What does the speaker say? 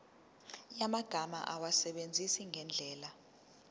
yamagama awasebenzise ngendlela